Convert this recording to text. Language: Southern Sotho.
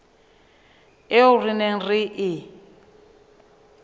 eo re neng re e